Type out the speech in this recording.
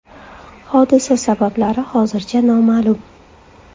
Hodisa sabablari hozircha noma’lum.